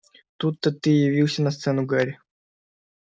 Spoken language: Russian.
тут-то ты и явился на сцену гарри